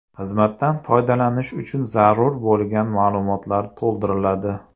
Xizmatdan foydalanish uchun zarur bo‘lgan ma’lumotlar to‘ldiriladi.